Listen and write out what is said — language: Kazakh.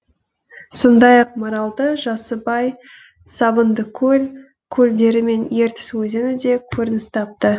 сондай ақ маралды жасыбай сабындыкөл көлдері мен ертіс өзені де көрініс тапты